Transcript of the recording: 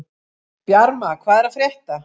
Bjarma, hvað er að frétta?